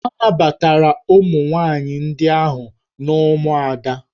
A nabatara ụmụ nwaanyị ndị ahụ n'ụmụada